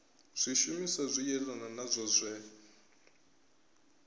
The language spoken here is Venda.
zwishumiswa zwi yelanaho nazwo zwe